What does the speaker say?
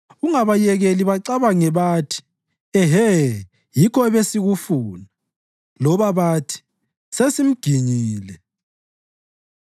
Ungabayekeli bacabange bathi, “Ehe, yikho ebesikufuna!” loba bathi, “Sesimginyile.”